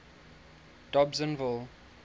dobsenville